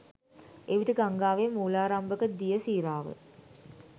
එවිට ගංගාවේ මූලාරම්භක දිය සීරාව